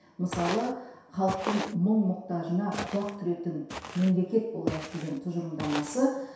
мысалы халықтың мұң мұқтажына құлақ түретін мемлекет болайық деген тұжырымдамасы